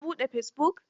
Ka buɗe fesibuk.